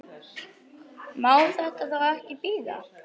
Má þetta þá ekki bíða?